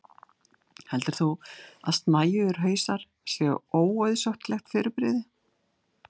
heldur þú að snæugir hausar séu óauðsóttlegt fyrirbrigði